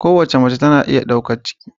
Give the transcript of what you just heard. Kowace mace tana iya daukan ciki.